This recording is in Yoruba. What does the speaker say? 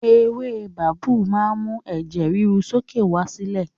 Ewé babú máa ń mú ẹ̀jẹ̀ ríru sókè wá sílẹ̀